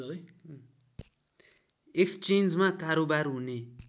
एक्सेन्जमा कारोवार हुने